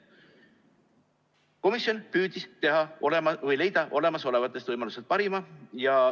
Komisjon püüdis leida olemasolevatest võimalustest parima.